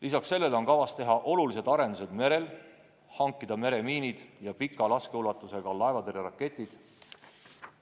Lisaks on kavas teha olulised arendused merel: hankida meremiinid ja suure laskeulatusega laevatõrjeraketid.